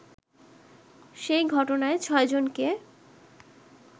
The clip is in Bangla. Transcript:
সেই ঘটনায় ছয়জনকে